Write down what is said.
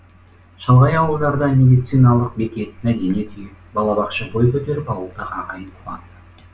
шалғай ауылдарда медиицналық бекет мәдениет үйі балабақша бой көтеріп ауылдағы ағайын қуанды